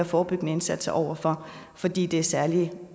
forebyggende indsatser over for fordi det særlig